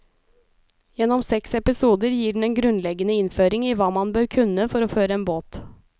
Gjennom seks episoder gir den en grunnleggende innføring i hva man bør kunne for å føre en båt.